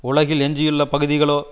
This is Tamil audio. உலகில் எஞ்சியுள்ள பகுதிகளோ